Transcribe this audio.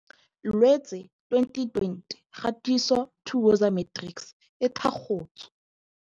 Loetse 2020 Kgatiso 2Woza Matrics e thakgotswe